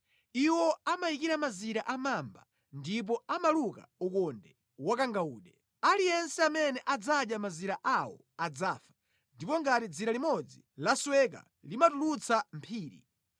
Iwo amayikira mazira a mamba ndipo amaluka ukonde wakangawude. Aliyense amene adzadya mazira awo adzafa, ndipo ngati dzira limodzi lasweka limatulutsa mphiri.